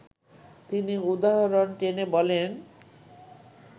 তিনি উদাহরণ টেনে বলেন